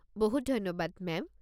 বহুত ধন্যবাদ, মেম।